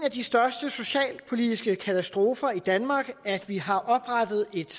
af de største socialpolitiske katastrofer i danmark at vi har oprettet et